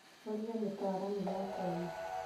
ũria mũtaramu wakwanyu.